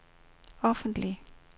offentlig